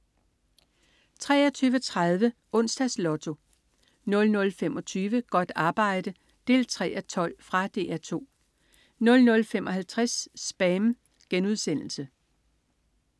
23.30 Onsdags Lotto 00.25 Godt arbejde 3:12. Fra DR 2 00.55 SPAM*